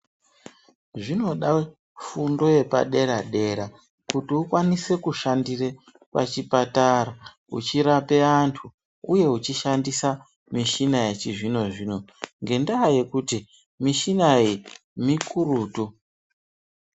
Zvinoda fundo yepa dera dera kuti ukwanise kushandire pachipatara uchirape antu uye uchishandisa mishini yechizvino zvino ngendaa yekuti mishina iyi mikurutu.